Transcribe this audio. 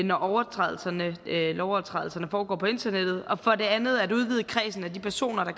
når lovovertrædelserne foregår på internettet og for det andet at udvide kredsen af de personer der